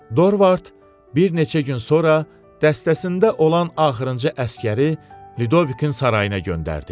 Dorvart bir neçə gün sonra dəstəsində olan axırıncı əsgəri Lidovikin sarayına göndərdi.